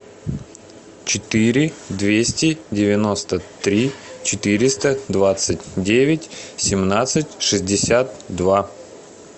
четыре двести девяносто три четыреста двадцать девять семнадцать шестьдесят два